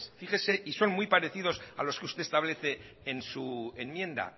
fíjese y son muy parecidos a los que usted establece en su enmienda